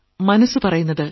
മനസ്സു പറയുന്നത്